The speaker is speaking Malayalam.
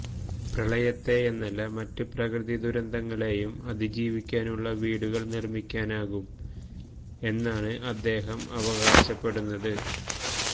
പ്രളയത്തെയെന്നല്ല മറ്റ് പ്രകൃതി ദുരന്തങ്ങളെയും അതിജീവിക്കുന്ന വീടുകള് നിര്മിക്കാനാകും എന്നാണ് ഇദ്ദേഹം അവകാശപ്പെടുന്നത്